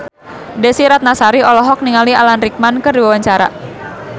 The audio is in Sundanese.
Desy Ratnasari olohok ningali Alan Rickman keur diwawancara